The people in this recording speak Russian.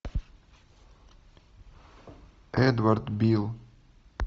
эдвард билл